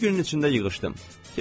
Bir günün içində yığışdım.